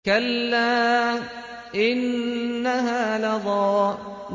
كَلَّا ۖ إِنَّهَا لَظَىٰ